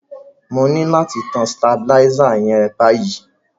Mo ni láti tan stabilizer yen báyíí